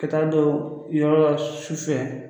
Ka taa don yɔrɔla su fɛ